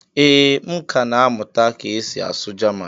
ee, m ka na-amụta ka esi asụ jaman